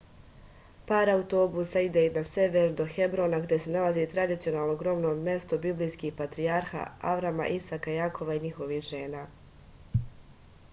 par autobusa ide i na sever do hebrona gde se nalazi tradicionalno grobno mesto biblijskih patrijarha avrama isaka jakova i njihovih žena